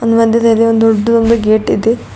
ಮಧ್ಯದಲ್ಲಿ ಒಂದು ದೊಡ್ಡದೊಂದು ಗೇಟ್ ಇದೆ.